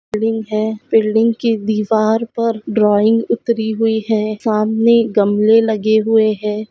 Building है building के दीवार पर ड्रॉइंग उतरी हुई है सामने गमले लगे हुए है।